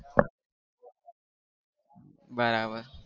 બરાબર